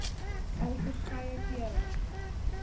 al verskeie kere